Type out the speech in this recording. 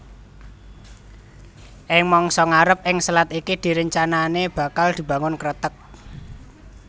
Ing mangsa ngarep ing selat iki rencanané bakal dibangun kreteg